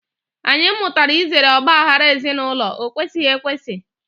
Anyị mụtara izere ọgbaaghara ezinụlọ, ọ kwesighị ekwesị.